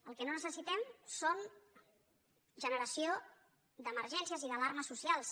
el que no necessi·tem és generació d’emergències i d’alarmes socials